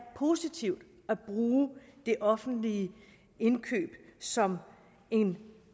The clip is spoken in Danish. positivt at bruge det offentlige indkøb som en